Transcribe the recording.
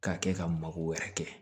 K'a kɛ ka mako wɛrɛ kɛ